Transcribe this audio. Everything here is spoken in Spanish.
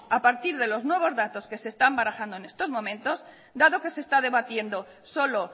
a partir de los nuevos datos que se están barajando en estos momentos dado que se está debatiendo solo